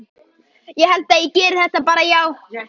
Ég held ég geri það bara, já.